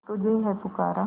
तुझे है पुकारा